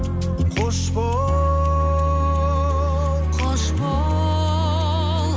қош бол қош бол